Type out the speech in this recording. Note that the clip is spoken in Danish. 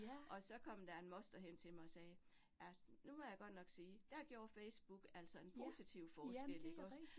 Og så kom der en moster hen til mig og sagde, ja, nu vil jeg godt nok sige, der gjorde Facebook altså en positiv forskel ikke også